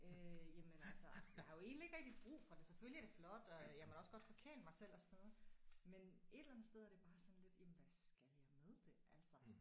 Øh jamen altså jeg har jo egentlig ikke rigtig brug for det. Selvfølgelig er det flot og jeg må da også godt forkæle mig selv og sådan noget men et eller andet sted er det bare sådan lidt jamen hvad skal jeg med det altså